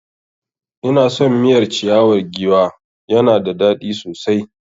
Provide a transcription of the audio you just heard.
Ina son miyar ciyawar giwa ya na da dadi sosai